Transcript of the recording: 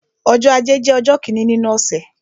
Ọjọ́ ajé jẹ́ ọjọ́ kíni nínú ọ̀sẹ̀.